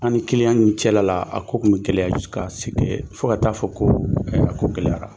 An ni kiliyan ninnu cɛla la a ko tun bɛ gɛlɛya ka sigi fo ka t'a fɔ ko a ko gɛlɛyara